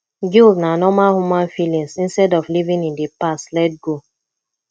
guilt na normal human feelings instead of living in di past let go